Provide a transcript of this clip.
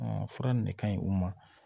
fura nin ne ka ɲi u ma